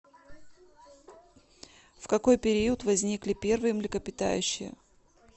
в какой период возникли первые млекопитающие